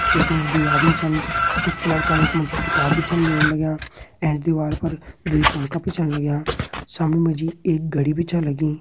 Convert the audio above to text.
यखमा जी दुइ आदमी छन कुछ लड़का यखमा जी किताब बी छन लेण लाग्यां ऐंच दिवार पर दुइ पंखा बी छन लाग्यां सामने जी एक घड़ी बी छै लगीं।